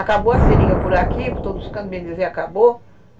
Acabou a seringa por aqui, por todos os cantos, bem dizer acabou.